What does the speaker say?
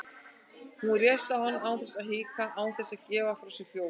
Hún réðst á hann án þess að hika, án þess að gefa frá sér hljóð.